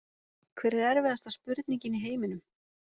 Hver er erfiðasta spurningin í heiminum?